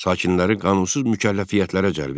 Sakinləri qanunsuz mükəlləfiyyətlərə cəlb eləyir.